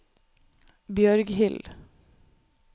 Bjørghild